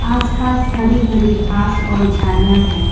आस पास हरी भरी घास और झाड़ियां है।